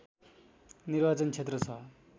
निर्वाचन क्षेत्र छ